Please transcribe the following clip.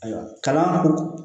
Ayiwa kalan ko